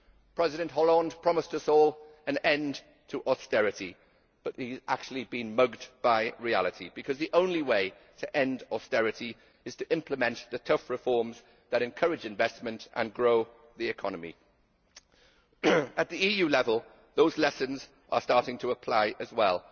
President Hollande promised us all an end to austerity, but he has actually been mugged by reality because the only way to end austerity is to implement the tough reforms that encourage investment and grow the economy. At EU level, those lessons are starting to apply as well.